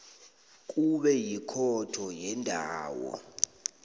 kube yikhotho yendawo